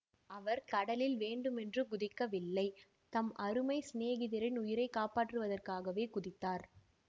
அவர் கடலில் வேண்டுமென்று குதிக்கவில்லை தம் அருமை சிநேகிதரின் உயிரை காப்பாற்றுவதற்காகவே குதித்தார்